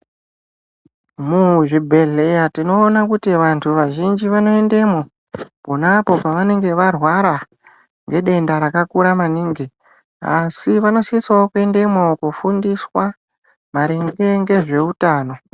Muzvibhedhleya tinoona kuti vantu vazhinji vanoendamo ponapo paanenge varwara ngedenda rakakura maningi, asi vanosisawo kuendemwo kofundiswa maringe ngezveutano.